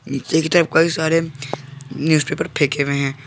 नीचे की तरफ कई सारे न्यूज़ पेपर फेंके हुए हैं।